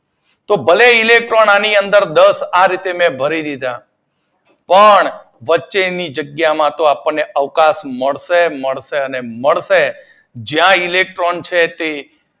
તો ઇલેક્ટ્રોન ભલે આની અંદર દસ ભરી દીશા પણ વચ્ચેની જગ્યામાં તો આપદને અવકાશ મળશે મળશે અને મળશે. જ્યાં ઇલેક્ટ્રોન